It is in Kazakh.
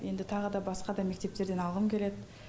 енді тағы да басқа да мектептерден алғым келеді